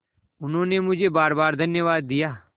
उन्होंने मुझे बारबार धन्यवाद दिया